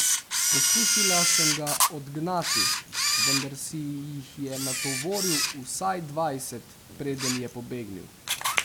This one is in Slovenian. Poskusila sem ga odgnati, vendar si jih je natovoril vsaj dvajset, preden je pobegnil.